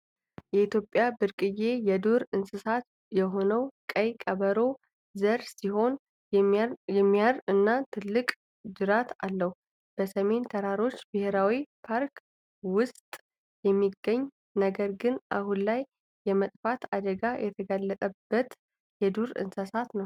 ከኢትዮጵያ ብርቅዬ የዱር እንስሳት የሆነው የቀይ ቀበሮ ዘር ሲሆን የሚያር እና ትልቅ ጅራት አለው ።በሰሜን ተራሮች ብሔራዊ ፓርክ ውስጥ የሚገኝ ነገር ግን አሁን ላይ የመጥፋት አደጋ የተጋለጠበት የዱር እንስሳ ነው ።